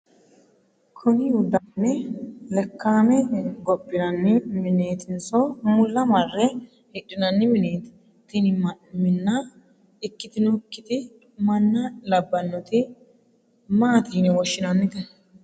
kuni uddno marre layii'ne lakka'amme gophinanni mineetinso mulla marre hidhinanni mineeti? tini mnna ikkitinokkiti manna labbannoti maati yine woshshinannite ?